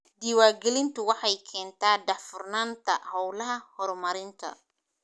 Diiwaangelintu waxay keentaa daahfurnaanta hawlaha horumarinta.